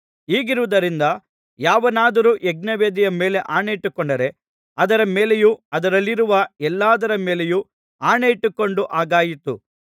ಹೀಗಿರುವುದರಿಂದ ಯಾವನಾದರೂ ಯಜ್ಞವೇದಿಯ ಮೇಲೆ ಆಣೆಯಿಟ್ಟುಕೊಂಡರೆ ಅದರ ಮೇಲೆಯೂ ಅದರಲ್ಲಿರುವ ಎಲ್ಲದರ ಮೇಲೆಯೂ ಆಣೆಯಿಟ್ಟುಕೊಂಡ ಹಾಗಾಯಿತು